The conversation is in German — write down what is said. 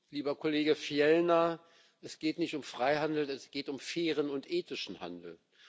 Lieber Kollege Fjellner, es geht nicht um Feihandel, es geht um fairen und ethischen Handel.